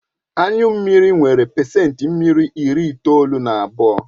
Anyu mmiri nwere pacent mmiri ịri itoolu na abụọ